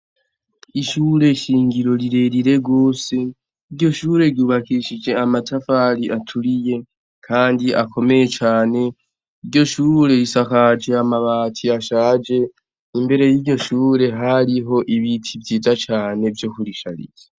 Ishure nshingiro rirerire gose , iryo shure ryubakishije amatafari aturiye Kandi akomeye cane, iryo shure risakaje amabati ashaje, imbere yiryo shure hariho ibiti vyiza cane vyo kurishariza.